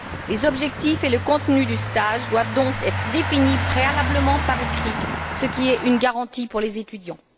Les objectifs et le contenu du stage doivent donc être définis préalablement par écrit, ce qui est une garantie pour les étudiants.